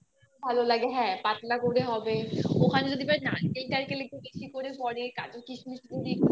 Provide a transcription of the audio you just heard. ভালো লাগে হ্যা পাতলা করে হবে ওখানে যদি ভাই নারকেল টারকেল একটু বেশি করে পরে kaju kishmish যদি একটু পরে